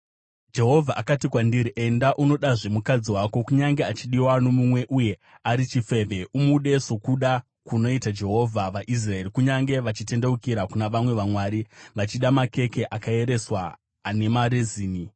Jehovha akati kwandiri, “Enda, unodazve mukadzi wako, kunyange achidiwa nomumwe uye ari chifeve. Umude sokuda kunoita Jehovha vaIsraeri, kunyange vachitendeukira kuna vamwe vamwari vachida makeke akaereswa ane marezini.”